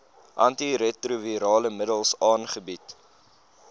antiretrovirale middels aangebied